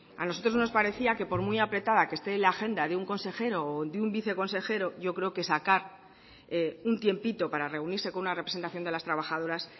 a nosotros nos parecía que por muy apretada que este la agenda de un consejero o de un viceconsejero yo creo que sacar un tiempito para reunirse con una representación de las trabajadoras